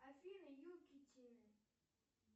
афина юки тины